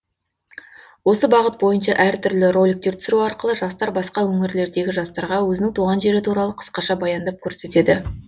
осы бағыт бойынша әр түрлі роликтер түсіру арқылы жастар басқа өңірлердегі жастарға өзінің туған жері туралы қысқаша баяндап көрсетеді